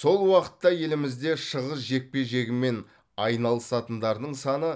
сол уақытта елімізде шығыс жекпе жегімен айналысатындардың саны